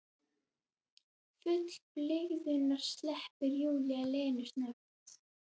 Full blygðunar sleppir Júlía Lenu snöggt.